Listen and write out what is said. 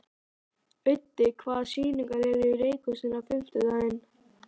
Auddi, hvaða sýningar eru í leikhúsinu á fimmtudaginn?